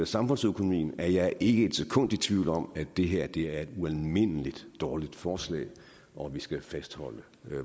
samfundsøkonomien er jeg ikke et sekund i tvivl om at det her er et ualmindelig dårligt forslag og at vi skal fastholde